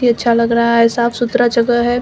ही अच्छा लग रहा हैं साफ सुथरा जगह है।